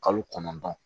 Kalo kɔnɔntɔn